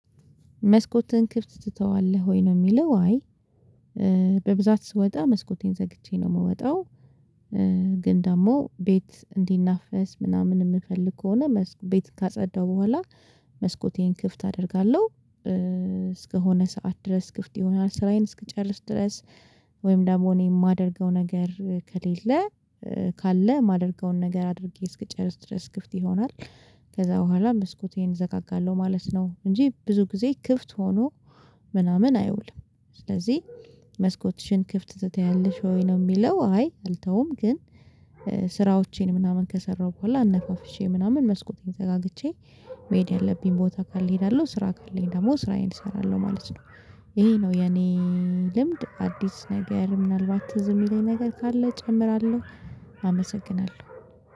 መስኮትን ክፍት ትተዋለህ ወይ ነው የሚለው? አይ በብዛት ስወጣ መስኮቴን ዘግቼ ነው የምወጣው። ግን ደግሞ ቤት እንዲናፈስ ምናምን የምፈልግ ከሆነ ቤት ካጸዳሁ በኋላ መስኮቴን ክፍት አደርጋለሁ እስከሆነ ሰዓት ድረስ ክፍት ይሆናል ስራዬን እስከጨረስ ድረስ ወይም ደግሞ እኔ የማደርገው ነገር ከሌለ ካለ የማደርገውን ነገር አድርጌ እስክጨርስ ድረስ ክፍት ይሆናል። ከዛ በኋላ መስኮቴን እዘጋጋለሁ ማለት ነው እንጂ ብዙ ጊዜ ክፍት ሆኖ ምናምን አይውልም። ስለዚህ መስኮትሽን ክፍት ትተያለሽ ወይ ነው የሚለው? አይ አልተውም ግን ስራዎቼን ምናምን ከሰራሁ በኋላ አነፋፍሼ ምናምን መስኮት ዘጋግቼ መሄድ ያለብኝ ቦታ ካለ እሄዳለሁ ስራ ካለኝ ደግሞ ስራዬን እሰራለሁ ማለት ነው። ይሄ ነው የኔ። ልምድ አዲስ ነገር ምናልባት ትዝ የሚለኝ ነገር ካለ እጨምራለሁ። አመሰግናለሁ